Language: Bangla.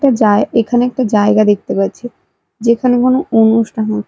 একটা জায় এখানে একটা জায়গা দেখতে পাচ্ছি যেখানে কোন অনুষ্ঠান হছ--